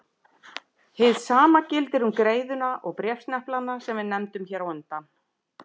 Hið sama gildir um greiðuna og bréfsneplana sem við nefndum hér á undan.